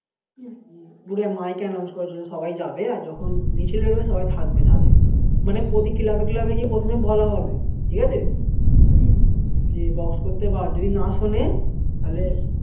বোধ হয় mic এ announce করেছিল সবাই যাবে আর যখন মিছিল বেরোবে সবাই থাকবে সাথে মানে প্রতি club এ club এ গিয়ে প্রথমে বলা হবে ঠিকাছে যে box করতে বারণ যদি না শোনে তালে